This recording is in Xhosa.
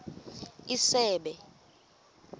isebe